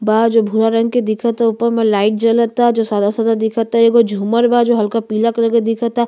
बाहर जो भूरा रंग के दिखता। ऊपर में लाइट जलता जो सादा-सादा दिखता। एगो झूमर बा जो हल्का पीला कलर के दिखता।